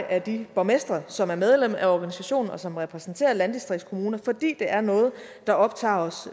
af de borgmestre som er medlem af organisationen og som repræsenterer landdistriktskommuner fordi det er noget der optager os